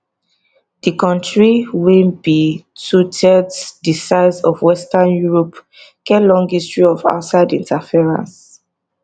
di kontri wey be twothirds di size of western europe get long history of outside interference